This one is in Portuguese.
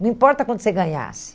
Não importa quanto você ganhasse.